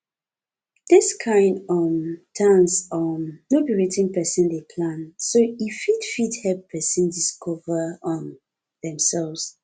dis kind um dance um no be wetin person dey plan so e fit fit help person discover um themselves